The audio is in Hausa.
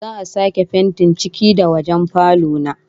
Za'a sake fentin ciki da wajen falo na